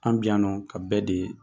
An bi yan nɔ ka bɛɛ de ye.